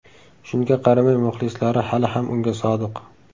Shunga qaramay, muxlislari hali ham unga sodiq.